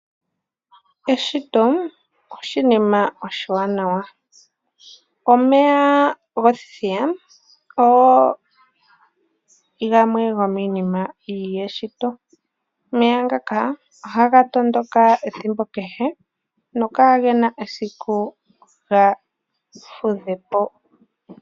Eshito oshinima oshiwanawa, omeya gothithiya ogo gamwe gomiinima yeshito. Omeya ngaka ohaga tondoka ethimbo kehe no kaagena esiku ga fudhe po.